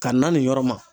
Ka na nin yɔrɔ ma